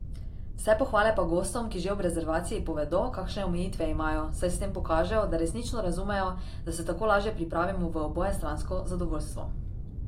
Vse pohvale pa gostom, ki že ob rezervaciji povedo, kakšne omejitve imajo, saj s tem pokažejo, da resnično razumejo, da se tako lažje pripravimo v obojestransko zadovoljstvo.